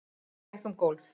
Hann gekk um gólf.